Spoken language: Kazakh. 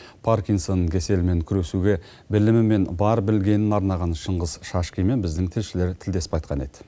паркинсон кеселімен күресуге білімі мен бар білгенін арнаған шыңғыс шашкинмен біздің тілшілер тілдесіп қайтқан еді